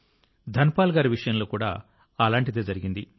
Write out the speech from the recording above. ధన్ పాల్ గారి విషయంలో కూడా అలాంటిదే జరిగింది